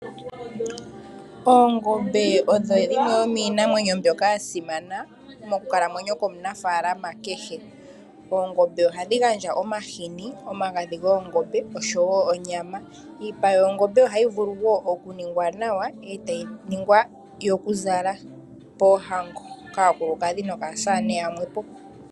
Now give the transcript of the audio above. Oongombe odho dhimwe dhominamwenyo mbyoka yasimana monkalamwenyo yomunafaalama kehe. Oongombe ohadhi gandja omahini, omagadhi goongombe osho wo oonyama. Iipa yongombe ohayi vulu wo okuningwa nawa etayi ningwa yokuzala poohango kaakulukadhi nokaasamane yamwe po.